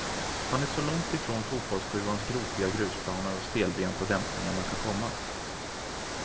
Han är så långt ifrån fotbollssjuans gropiga grusplaner och stelbenta dämpningar man kan komma.